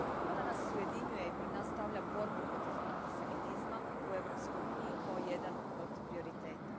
Ona nas ujedinjuje i pred nas stavlja borbu protiv antisemitizma u Europskoj uniji kao jedan od prioriteta.